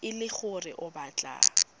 e le gore o batla